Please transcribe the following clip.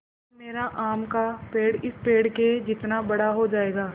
या मेरा आम का पेड़ इस पेड़ के जितना बड़ा हो जायेगा